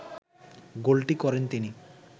গোলটি করেন তিনি